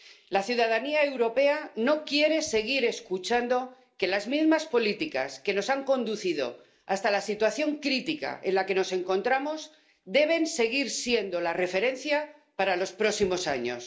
La ciudadanía europea no quiere seguir escuchando que las mismas políticas que nos han conducido hasta la situación crítica en la que nos encontramos deben seguir siendo la referencia para los próximos años.